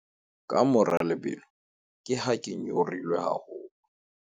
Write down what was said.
ka mora lebelo ke ha ke nyorilwe haholo